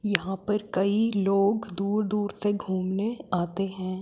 यहां पर कई लोग दूर दूर से घुमने आते हैं।